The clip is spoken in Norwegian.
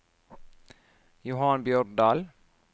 Johan Bjørndal